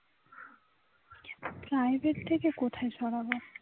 সাহেবের থেকে কোথায় সরাবো